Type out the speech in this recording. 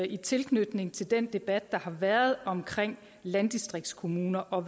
i tilknytning til den debat der har været omkring landdistriktskommuner og